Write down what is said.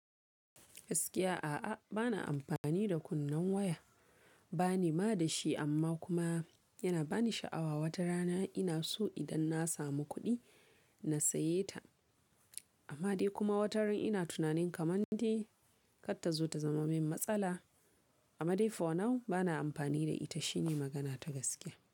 Gaskiya a'a, bana amfani da kunnen waya. Bani ma da shi, amma kuma yana bani sha'awa watarana. Ina so idan na samu kuɗi na saye ta. Amma dai kuma wataran, ina tunanin kamar dai kar tazo ta zama min matsala. Amma dai for now bana amfani da ita shine magana ta gaskiya.